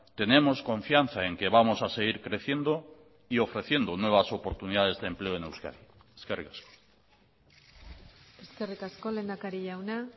tenemos confianza en que vamos a seguir creciendo y ofreciendo nuevas oportunidades de empleo en euskadi eskerrik asko eskerrik asko lehendakari jauna